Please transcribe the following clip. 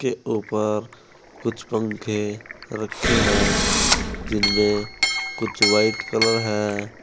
ये ऊपर कुछ पंखे रखे हैं जिनमें कुछ व्हाइट कलर हैं।